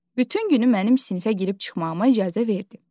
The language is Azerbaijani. Bütün günü mənim sinifə girib çıxmağıma icazə verdi.